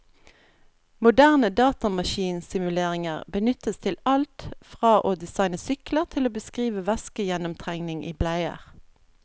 Moderne datamaskinsimuleringer benyttes til alt fra å designe sykler til å beskrive væskegjennomtrengning i bleier.